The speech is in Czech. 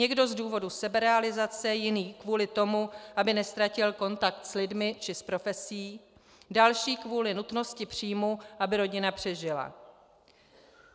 Někdo z důvodu seberealizace, jiný kvůli tomu, aby neztratil kontakt s lidmi či s profesí, další kvůli nutnosti příjmu, aby rodina přežila.